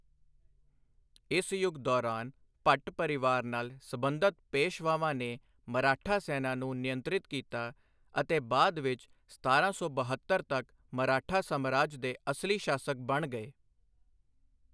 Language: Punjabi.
ਇਸ ਯੁੱਗ ਦੌਰਾਨ, ਭੱਟ ਪਰਿਵਾਰ ਨਾਲ ਸਬੰਧਤ ਪੇਸ਼ਵਾਵਾਂ ਨੇ ਮਰਾਠਾ ਸੈਨਾ ਨੂੰ ਨਿਯੰਤਰਿਤ ਕੀਤਾ ਅਤੇ ਬਾਅਦ ਵਿੱਚ ਸਤਾਰਾਂ ਸੌ ਬਹੱਤਰ ਤੱਕ ਮਰਾਠਾ ਸਾਮਰਾਜ ਦੇ ਅਸਲੀ ਸ਼ਾਸਕ ਬਣ ਗਏ।